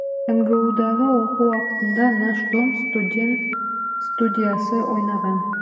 мгудағы оқу уақытында наш дом студен студиясы ойнаған